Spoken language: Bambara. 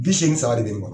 Bi seegin saba de be ne bolo